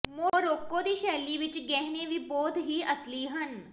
Morocco ਦੀ ਸ਼ੈਲੀ ਵਿਚ ਗਹਿਣੇ ਵੀ ਬਹੁਤ ਹੀ ਅਸਲੀ ਹਨ